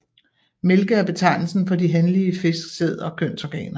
Mælke er betegnelsen for de hanlige fisks sæd og kønsorganer